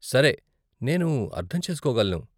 సరే, నేను అర్ధం చేసుకోగలను.